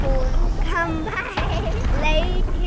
core खंभा है ईईइ लाइट --